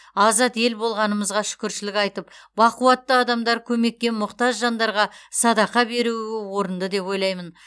азат ел болғанымызға шүкіршілік айтып бақуатты адамдар көмекке мұқтаж жандарға садақа беруі орынды деп ойлаймын